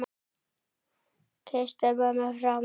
Kysstu mömmu frá mér.